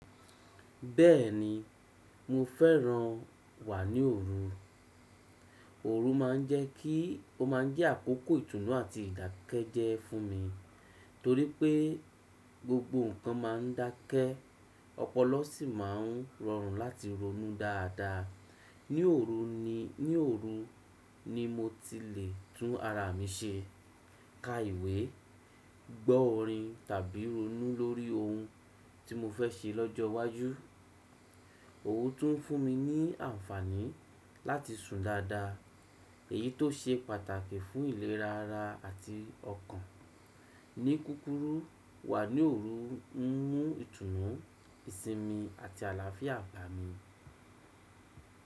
Bẹ́ẹ̀ni, mo fẹ́ran wà ní òru. Òru ma ń jẹ́ kí, ó ma ń jẹ́ àkókò ìtùnú àti ìdákẹ́jẹ́ fún mi, torí pé gbogbo ǹkan ma ń dákẹ́, ọpọlọ sì ma ń rọrùn láti ronú dáadáa. Ní òru ni, ní òru ni mo ti lè tún ara mi ṣe, ka ìwé, gbọ́ orin tàbí ronú lórí ohun tí mo fẹ́ ṣe lọ́jọ́ iwájú. Òru tún fún mi ní àǹfààní láti sùn dáadáa, èyí tó ṣe pàtàkì fún ìlera ara àti ọkàn. Ní kúrúkù, wà ní òru ń mú ìtùnú, ìsinmi àti àlàáfíà bá mi.